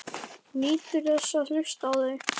Hún nýtur þess að hlusta á þau.